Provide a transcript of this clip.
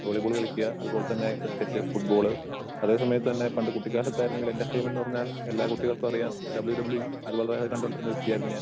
Volleyball കളിക്കാ അതുപോലെതന്നെ cricket, football. അതേ സമയത്ത് തന്നെ പണ്ട് കുട്ടികാലത്ത് ആയിരുന്നെങ്കിൽ എന്റർടൈൻമെന്റ് എന്ന് പറഞ്ഞാൽ എല്ലാ കുട്ടികൾക്കും അറിയാം ഡബ്ല്യൂ ഡബ്ല്യൂ ഇ അതുപോലെതന്നെ കണ്ടോണ്ടിരുന്ന വ്യക്തിയായിരുന്നു ഞാൻ.